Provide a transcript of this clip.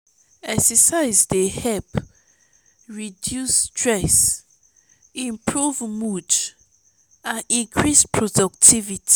exercise dey help reduce stress improve mood and increase productivity.